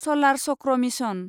सलार चक्र मिसन